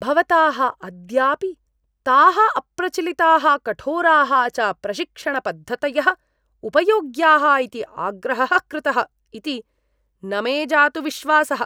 भवता अद्यापि ताः अप्रचलिताः कठोराः च प्रशिक्षणपद्धतयः उपयोग्याः इति आग्रहः कृतः इति न मे जातु विश्वासः।